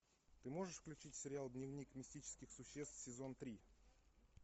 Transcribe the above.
ты можешь включить сериал дневник мистических существ сезон три